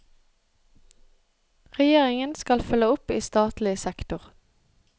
Regjeringen skal følge opp i statlig sektor.